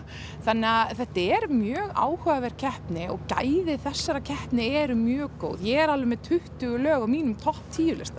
þannig að þetta er mjög áhugaverð keppni og gæði þessarar keppni eru mjög góð ég er alveg með tuttugu lög á mínum topp tíu lista